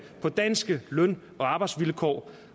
på danske løn og arbejdsvilkår